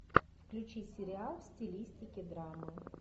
включи сериал в стилистике драма